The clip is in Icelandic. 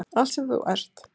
Allt sem þú ert.